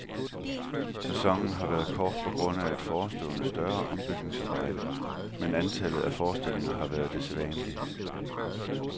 Sæsonen har været kort på grund af et forestående større ombygningsarbejde, men antallet af forestillinger har været det sædvanlige.